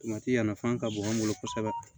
a nafa ka bon an bolo kosɛbɛ